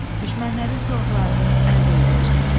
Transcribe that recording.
Düşmənlərin silahlarını əldə eləyir.